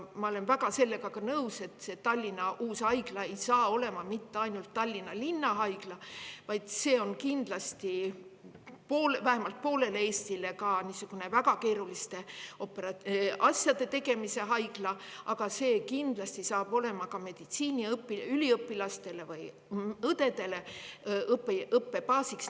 Ma olen sellega nõus, et Tallinna uus haigla ei saa olema mitte ainult Tallinna linna haigla, vaid kindlasti vähemalt poolele Eestile niisugune väga keeruliste asjade tegemise haigla, ja see saab kindlasti ka meditsiiniüliõpilaste ja õdede õppebaasiks.